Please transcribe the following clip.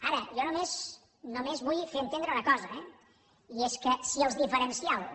ara jo només vull fer entendre una cosa eh i és que si els diferencials